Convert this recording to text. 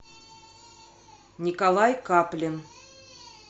николай каплин